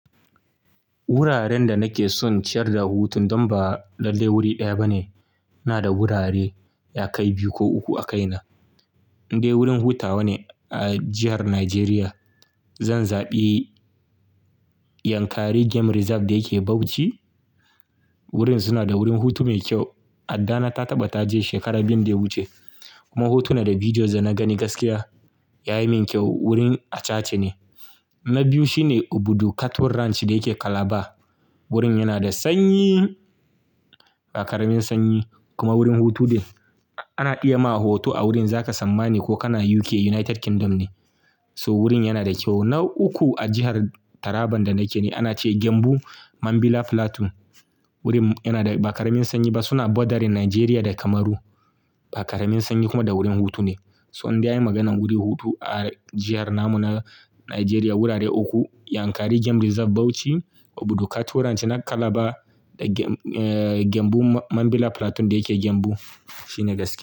Wuraren da nake so in ciyar da hutu don ba lallai wuri ɗaya ba ne. Ina da wurare ya kai biyu ko uku a kaina. Indai wurin hutawa ne a jihar Najeriya. Zan zaɓi Yankari Game Reserve da yake Bauchi. Wurin suna da wurin hutu mai kyau. Addana ta taɓa ta je shekara biyun da ya wuce kuma hotuna da bidiyos da na gani gaskiya ya yi min kyau. Wurin acace ne. Na biyu shine Obudu Cattle Ranch da yake Calabar. Wurin yana da sanyi, ba ƙaramin sanyi kuma wurin hutu din ana iya ma hoto a wurin za ka tsammani ko ka na UK, United Kingdom ne. Toh wurin yana da kyau. Na uku a jihar Taraban da nake ne ana ce Gembu Mambilla Plateau. Wurin yana da ba ƙaramin sanyi ba suna borderin Najeriya da Kamaru. Bakaramiin sanyi kuma da wurin hutu ne. Toh in dai an yi maganar wuri hutu a jiharmu na Najeriya wurare uku Yankari Game Reserve Bauchi, Obudu Cattle Ranch na Calabar da Gembu Mambilla Plateau da yake Gembu shine gaskiya.